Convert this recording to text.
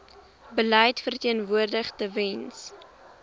beleid verteenwoordig tewens